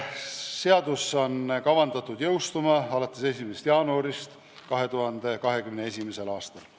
Seadus peaks jõustuma 1. jaanuaril 2021. aastal.